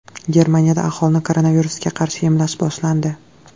Germaniyada aholini koronavirusga qarshi emlash boshlandi.